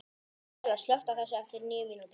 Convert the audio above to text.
Bella, slökktu á þessu eftir níu mínútur.